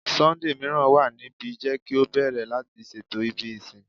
Sunday miiran wa nibi, jẹ ki o bẹrẹ lati ṣeto ibi isin